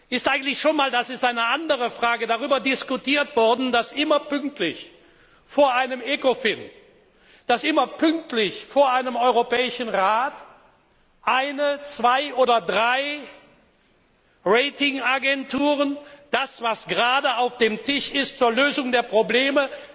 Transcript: Ist eigentlich schon einmal, und das ist eine andere Frage, darüber diskutiert worden, dass immer pünktlich vor einem Ecofin, dass immer pünktlich vor einem Europäischen Rat eine, zwei oder drei Ratingagenturen das, was gerade zur Lösung der Probleme